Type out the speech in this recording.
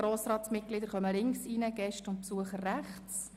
Grossratsmitglieder benutzen den linken und Gäste den rechten Eingang.